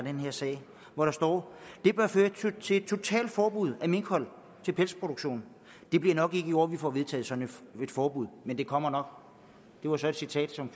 her sag det bør føre til et totalt forbud af minkhold til pelsproduktion det bliver nok ikke i år vi får vedtaget sådan et forbud men det kommer nok det var så et citat som